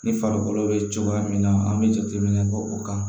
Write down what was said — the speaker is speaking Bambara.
Ni farikolo bɛ cogoya min na an bɛ jateminɛ kɛ o kan